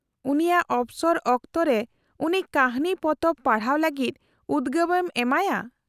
-ᱩᱱᱤᱭᱟᱜ ᱚᱯᱥᱚᱨ ᱚᱠᱛᱚᱨᱮ ᱩᱱᱤ ᱠᱟᱹᱦᱱᱤ ᱯᱚᱛᱚᱵ ᱯᱟᱲᱦᱟᱜ ᱞᱟᱹᱜᱤᱫ ᱩᱫᱜᱟᱹᱣ ᱮᱢ ᱮᱢᱟᱭᱟ ᱾